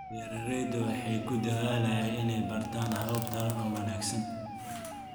Beeraleydu waxay ku dadaalayaan inay bartaan habab taran oo wanaagsan.